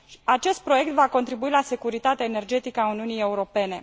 Acest proiect va contribui la securitatea energetică a Uniunii Europene.